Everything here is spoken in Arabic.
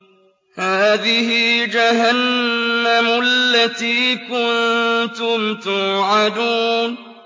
هَٰذِهِ جَهَنَّمُ الَّتِي كُنتُمْ تُوعَدُونَ